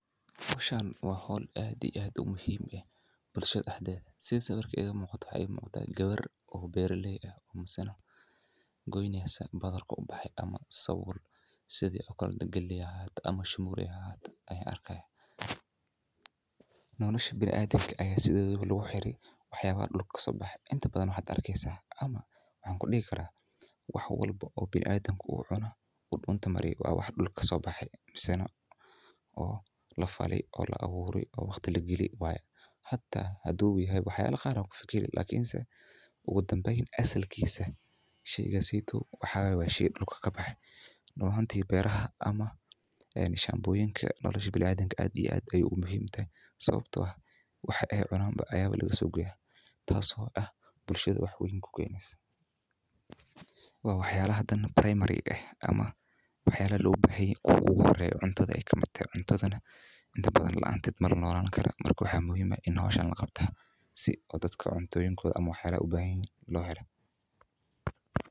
Howshan waa howl aad iyo aad muhiim u ah waxaa ii muqataa gabar beeraley ah oo goyneyso galeey ama wax soo baxay biniadamka noloshiisa ayaa ku xiran wax dulka kasoo baxay wax walbo uu qofka cunaayo dulka ayuu kabaxaa beeraleyda sait ayeey muhiim utahay nolosha biniadamka waxa muhiim ah in la qabto howshan si loo helo waxa loo bahan yahay.